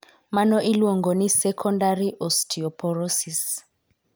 Mano iluong'o ni sekondari Osteoporosis.